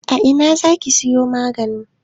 A ina za ki siyo maganin?